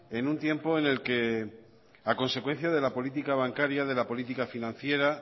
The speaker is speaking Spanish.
en un tiempo en el que a consecuencia de la política bancaria de la política financiera